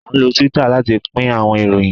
a nlo Twitter lati pin awọn iroyin